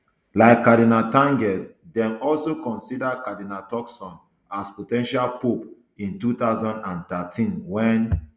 like cardinal tagle dem also consider cardinal turkson as po ten tial pope in two thousand and thirteen wen